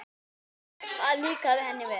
Það líkaði henni vel.